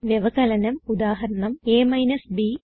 വ്യവകലനം ഉദാഹരണം a ബ്